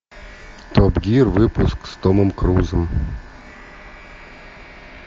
топ гир выпуск с томом крузом